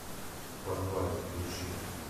в подвале включи